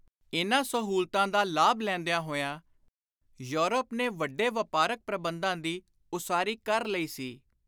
ਇਨ੍ਹਾਂ ਸਹੂਲਤਾਂ ਦਾ ਲਾਭ ਲੈਂਦਿਆਂ ਹੋਇਆਂ ਯੂਰਪ ਨੇ ਵੱਡੇ ਵਾਪਾਰਕ ਪ੍ਰਬੰਧਾਂ ਦੀ ਉਸਾਰੀ ਕਰ ਲਈ ਸੀ।